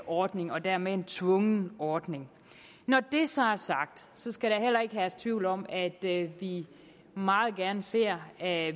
ordning og dermed en tvungen ordning når det så er sagt skal der heller ikke herske tvivl om at vi meget gerne ser at